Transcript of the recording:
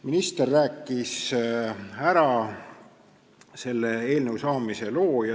Minister rääkis ära selle eelnõu saamise loo.